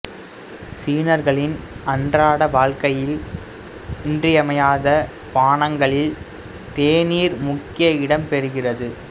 சீனர்களின் அன்றாட வாழ்க்கையில் இன்றியமையாத பானங்களில் தேநீர் முக்கிய இடம்பெறுகிறது